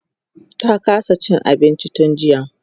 ta kasa Cin abinci tun jiya